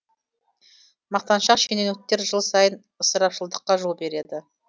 мақтаншақ шенеуніктер жыл сайын ысырапшылдыққа жол береді